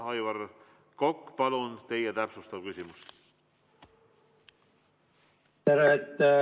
Aivar Kokk, palun, teie täpsustav küsimus!